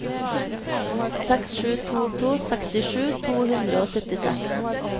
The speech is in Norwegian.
seks sju to to sekstisju to hundre og syttiseks